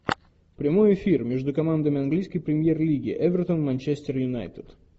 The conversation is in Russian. прямой эфир между командами английской премьер лиги эвертон манчестер юнайтед